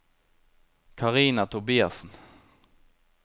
Karina Tobiassen